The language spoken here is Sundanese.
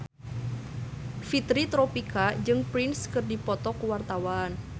Fitri Tropika jeung Prince keur dipoto ku wartawan